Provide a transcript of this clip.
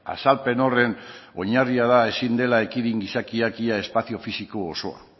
azalpen horren oinarria da ezin dela ekidin gizakiak ia espazio fisiko osoa